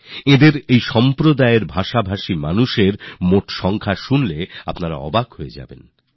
আপনি অবাক হবেন এই সম্প্রদায়ের লোকসংখ্যা ছিল গুনতির মধ্যে